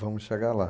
Vamos chegar lá.